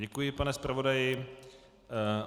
Děkuji, pane zpravodaji.